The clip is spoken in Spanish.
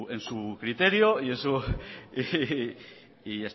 en su criterio y en su y